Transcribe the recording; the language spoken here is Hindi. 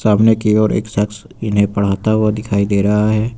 सामने की ओर एक शख्स इन्हें पढ़ाता हुआ दिखाई दे रहा है।